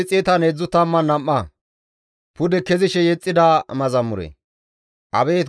Abeet GODAWU! Dawitenne izi dandayda metoza ubbaa ne qoppa.